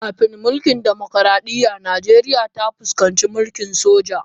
Kafin mulkin dimokuradiyya, Nijeriya ta fuskanci mulkin soja.